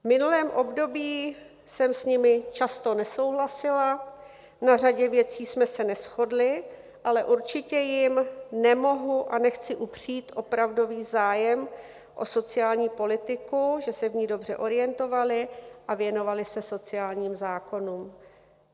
V minulém období jsem s nimi často nesouhlasila, na řadě věcí jsme se neshodly, ale určitě jim nemohu a nechci upřít opravdový zájem o sociální politiku, že se v ní dobře orientovaly a věnovaly se sociálním zákonům.